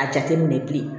A jateminɛ bilen